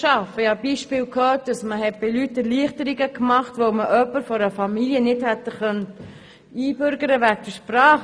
Ich habe Beispiele gehört, dass man bei Leuten Erleichterungen gemacht hat, weil man sonst jemand der Familie wegen der Sprache nicht hätte einbürgern können.